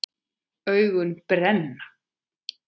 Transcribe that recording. Augun brenna.